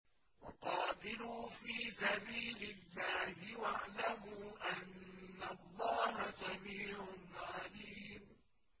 وَقَاتِلُوا فِي سَبِيلِ اللَّهِ وَاعْلَمُوا أَنَّ اللَّهَ سَمِيعٌ عَلِيمٌ